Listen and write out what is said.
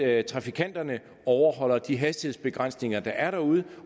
at trafikanterne overholder de hastighedsbegrænsninger der er derude